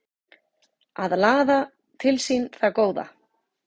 Að laða til sín það góða